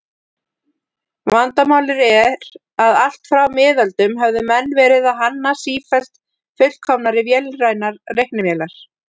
Vandamálið er að allt frá miðöldum höfðu menn verið að hanna sífellt fullkomnari vélrænar reiknivélar.